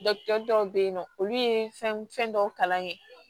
dɔw bɛ yen nɔ olu ye fɛn dɔw kalan kɛ